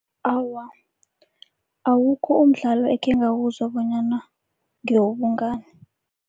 Awa, awukho umdlalo ekhengawuzwa bonyana ngewobungani.